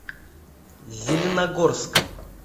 зеленогорском